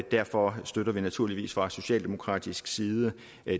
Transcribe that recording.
derfor støtter vi naturligvis fra socialdemokratisk side